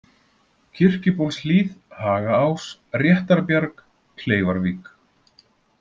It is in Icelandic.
Kirkjubólshlíð, Hagaás, Réttarbjarg, Kleifarvík